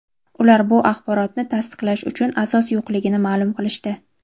Ular bu axborotni tasdiqlash uchun asos yo‘qligini ma’lum qilishdi.